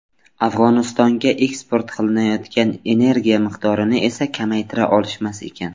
Afg‘onistonga eksport qilinayotgan energiya miqdorini esa kamaytira olishmas ekan.